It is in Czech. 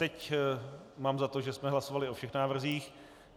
Teď mám za to, že jsme hlasovali o všech návrzích.